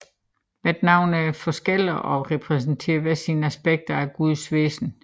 Hvert navn er forskelligt og repræsenterer hver sit aspekt af gudens væsen